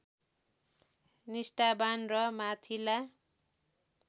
निष्ठावान् र माथिल्ला